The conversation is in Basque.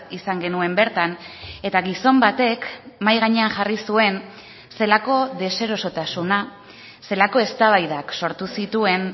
izan genuen bertan eta gizon batek mahai gainean jarri zuen zelako deserosotasuna zelako eztabaidak sortu zituen